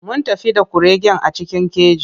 Mun tafi da kuregen a cikin keji.